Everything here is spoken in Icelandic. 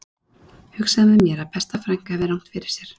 Ég hugsaði með mér að besta frænka hefði rangt fyrir sér